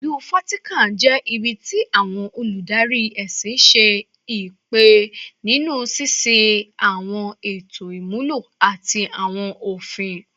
Ilu Vatican jẹ ibi ti awọn oludari ẹsin ṣe ipa ninu ṣiṣe awọn eto imulo ati awọn ofin